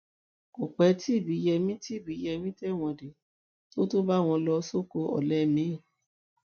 kò pẹ́ tí ibíyemi tí ibíyemi tẹ̀wọ̀n dé tó tún bá wọn lọ sóko ọ̀lẹ mìí